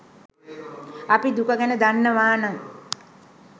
අපි දුක ගැන දන්නවාන